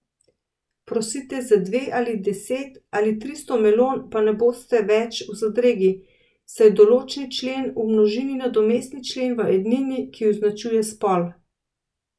Prosite za dve ali deset ali tristo melon, pa ne boste več v zadregi, saj določni člen v množini nadomesti člen v ednini, ki označuje spol.